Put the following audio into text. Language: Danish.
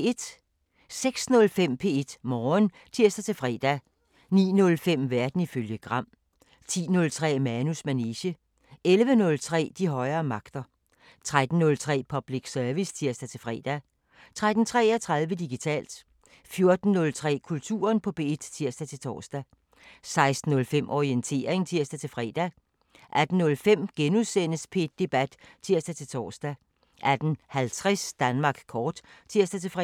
06:05: P1 Morgen (tir-fre) 09:05: Verden ifølge Gram 10:03: Manus manege 11:03: De højere magter 13:03: Public Service (tir-fre) 13:33: Digitalt 14:03: Kulturen på P1 (tir-tor) 16:05: Orientering (tir-fre) 18:05: P1 Debat *(tir-tor) 18:50: Danmark kort (tir-fre)